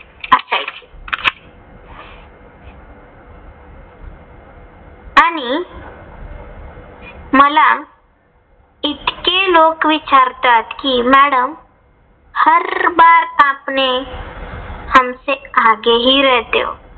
आणि मला इतके लोक विचारतात कि madam हर बर आपने हमसे आगेही रहते हो.